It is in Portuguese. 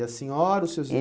E a senhora, os seus